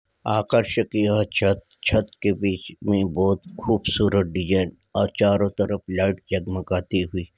आकर्षक यह छत छत के बीच में बहुत खूबसूरत डिजाइन और चारो तरफ लाइट जगमगाती हुयी |